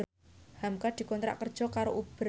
hamka dikontrak kerja karo Uber